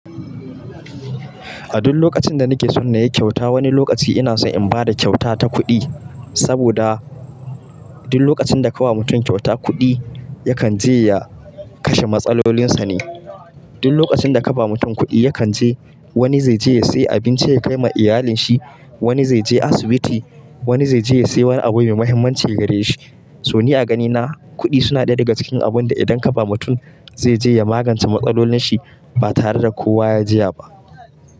A duk lokacin da nake so na yi kyauta, wani lokaci ina so in ba da kyauta ta kuɗi. Saboda duk lokacin da ka wa mutum kyauta kuɗi, yakan je ya kashe matsalolinsa ne. Duk lokacin da ka ba mutum kuɗi, yakan je wani zai je ya sayi abinci ya kai ma iyalinsa, wani zai je asibiti, wani zai je ya sayi wani abu mai mahimmanci gare shi. To ni a ganina, kuɗi suna ɗaya daga cikin abun da idan ka ba mutum, zai je ya magance matsalolinsa ba tare da kowa ya jiya ba.